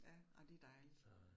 Ja, ej det dejligt